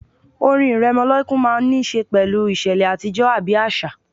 Orin ìrẹmọlẹ́kún máà ń ní ṣe pẹ̀lú ìṣẹ̀lẹ̀ àtijọ́ àbí àṣà